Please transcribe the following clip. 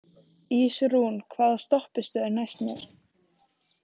Ísrún, hvaða stoppistöð er næst mér?